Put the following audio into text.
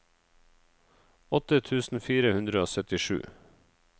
åtte tusen fire hundre og syttisju